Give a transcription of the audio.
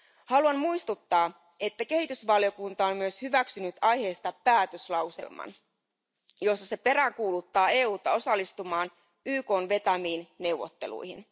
Haluan muistuttaa, että kehitysvaliokunta on myös hyväksynyt aiheesta päätöslauselman, jossa se peräänkuuluttaa EUta osallistumaan YKn vetämiin neuvotteluihin.